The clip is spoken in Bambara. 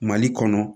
Mali kɔnɔ